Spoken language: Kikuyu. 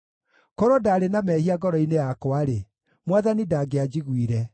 Korwo ndaarĩ na mehia ngoro-inĩ yakwa-rĩ, Mwathani ndangĩanjiguire;